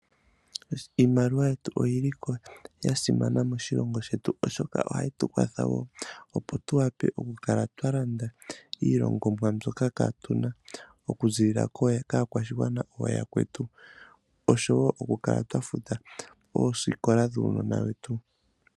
Iimaliwa oyili ya simana moshilongo shetu oshoka ohayi tu kwatha woo opo tu wa pe tu lande iilongomwa mbyoka kaatuna. Oku ziilila kaakwashigwana ooyakwetu. Osho woo oku kala twafuta oosikola dhuunona wetu.